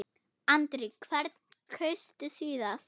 Andri: Hvern kaustu síðast?